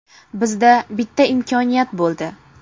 Bizda bitta imkoniyat bo‘ldi.